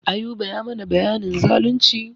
Ayuba ya mana bayanin zalunci.